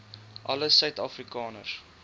alle suid afrikaners